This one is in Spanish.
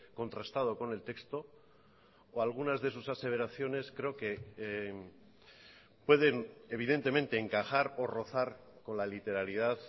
contrastado con el texto o algunas de sus aseveraciones creo que pueden evidentemente encajar o rozar con la literalidad